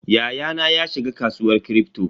Yayana ya shiga kasuwar Kripto.